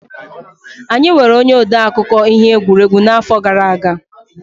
Anyị nweere onye akụkọ ihe egwuregwu n'afọ gara aga.